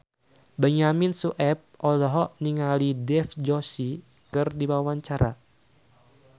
Benyamin Sueb olohok ningali Dev Joshi keur diwawancara